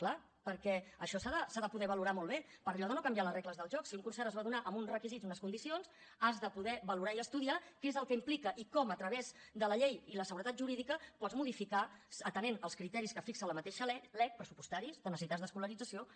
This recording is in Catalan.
clar perquè això s’ha de poder valorar molt bé per allò de no canviar les regles del joc si un concert es va donar amb uns requisits i unes condicions has de poder valorar i estudiar què és el que implica i com a través de la llei i la seguretat jurídica pots modificar atenent els criteris que fixa la mateixa lec pressupostaris de necessitats d’escolarització